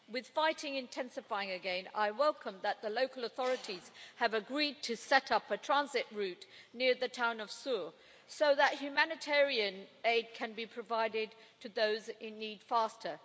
With fighting intensifying again, I welcome that the local authorities have agreed to set up a transit route near the town of Sour so that humanitarian aid can be provided to those in need faster.